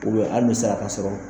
hali a ka sɔrɔ.